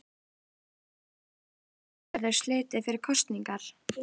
Oft enda slíkar hátíðir með ósköpum.